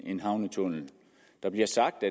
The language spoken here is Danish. en havnetunnel der bliver sagt